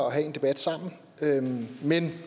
have en debat sammen men